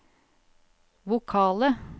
vokale